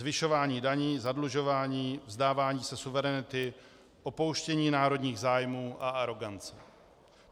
Zvyšování daní, zadlužování, vzdávání se suverenity, opouštění národních zájmů a arogance.